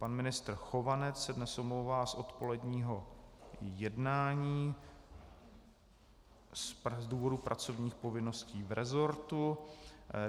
Pan ministr Chovanec se dnes omlouvá z odpoledního jednání z důvodu pracovních povinností v rezortu.